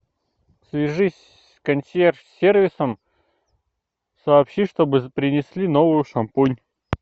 свяжись с консьерж сервисом сообщи чтобы принесли новую шампунь